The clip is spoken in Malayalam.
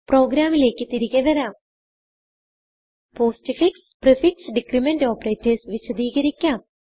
പ്രോഗ്രാമിലേക്ക് തിരികെ വരാം പോസ്റ്റ്ഫിക്സ് prefix ഡിക്രിമെന്റ് operatorsവിശദികരിക്കാം